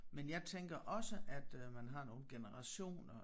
Men jeg tænker også at øh man har nogle generationer